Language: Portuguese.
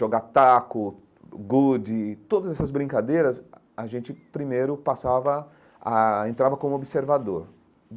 Jogar taco, gude, todas essas brincadeiras, a a gente primeiro passava, ah entrava como observador.